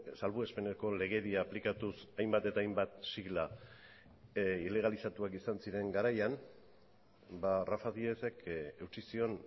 salbuespeneko legedia aplikatuz hainbat eta hainbat sigla ilegalizatuak izan ziren garaian rafa díezek eutsi zion